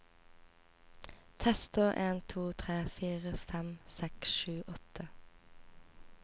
Tester en to tre fire fem seks sju åtte